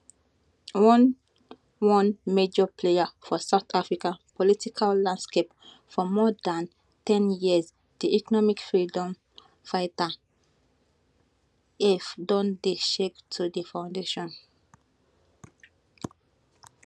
one one major player for south africa political landscape for more dan ten years di economic freedom fighters eff don dey shake to di foundation